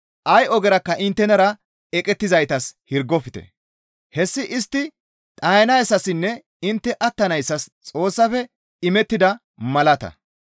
Ay ogerakka inttenara eqettizaytas hirgofte; hessi istti dhayanayssassinne intte attanayssas Xoossafe imettida malata.